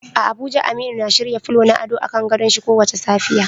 A Abuja Aminu na shirya fulo na ado a kan gadon shin kowace safiya.